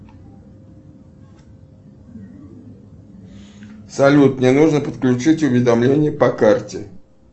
салют мне нужно подключить уведомление по карте